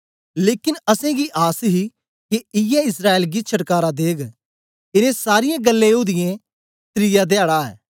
लेकन असेंगी आस ही के इयै इस्राएल गी छटकारा देग इनें सारीयें गल्लें ओदीयें त्रिया धयाडा ऐ